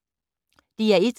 DR1